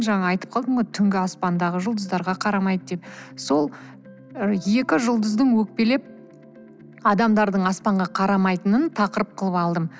жаңа айтып қалдым ғой түнгі аспандағы жұлдыздарға қарамайды деп сол екі жұлдыздың өкпелеп адамдардың аспанға карамайтынын тақырып қылып алдым